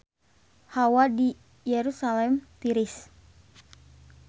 Hawa di Yerusalam tiris